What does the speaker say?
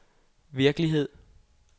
virkelighed